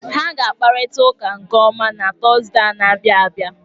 Ha ga-akparịta ụka nke ọma na Tọzdee a na-abịa abịa.